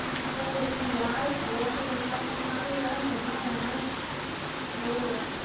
ਹੋਰ ਕੀ ਯਾਰ ਬਹੁਤ ਵਧੀਆ ਇੰਨਾ ਕੁ ਯਾਰ ਮਜ਼ਾ ਆਇਆ ਨਾ ਉਹ